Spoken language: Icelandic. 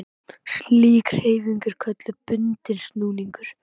Slík hreyfing er kölluð bundinn snúningur.